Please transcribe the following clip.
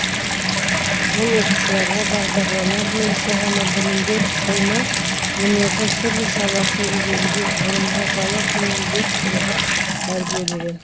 ол оқушыларға бағдарлама бойынша ғана білім беріп қоймай өнердің түрлі саласын игеруге ғылымға бала күннен бет бұруға тәрбиелеген